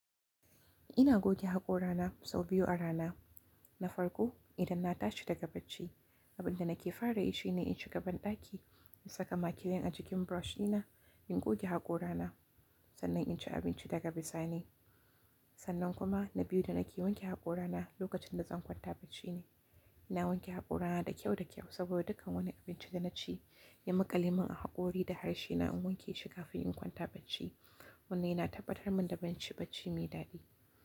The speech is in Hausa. Ina goge haƙora na sau biyu a rana. Na farko idan na tashi daga bacci, abin da nake fara yi shine in shiga banɗaki in saka makilin a jikin brush ɗina, in goge haƙora na sannan in ci abinci daga bisa ne. Sannan kuma na biyu da nake wanke haƙora na lokacin da zan kwanta bacci ne. Ina wanke haƙora na da kyau da kyau saboda dukkan wani abinci da na ci ya muƙale min a haƙori da harshe na in wanke shi kafin in kwanta bacci. Wannan yana tabbatar min da zan ci bacci mai daɗi.